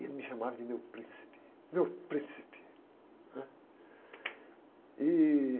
E ele me chamava de meu príncipe, meu príncipe, né? E...